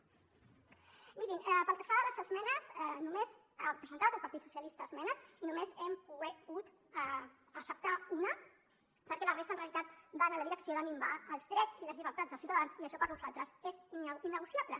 mirin pel que fa a les esmenes només ha presentat el partit socialista esmenes i només n’hem pogut acceptar una perquè la resta en realitat van en la direcció de minvar els drets i les llibertats dels ciutadans i això per nosaltres és innegociable